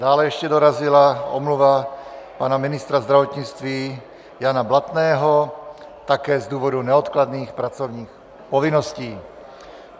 Dále ještě dorazila omluva pana ministra zdravotnictví Jana Blatného, také z důvodu neodkladných pracovních povinností.